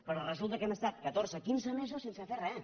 però resulta que hem estat catorze quinze mesos sense fer res